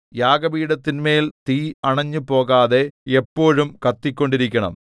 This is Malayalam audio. യാഗപീഠത്തിന്മേൽ തീ അണഞ്ഞുപോകാതെ എപ്പോഴും കത്തിക്കൊണ്ടിരിക്കണം